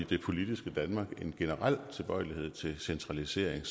det politiske danmark en generel tilbøjelighed til centralisering